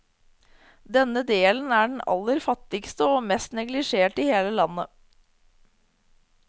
Denne delen er den aller fattigste og mest neglisjerte i hele landet.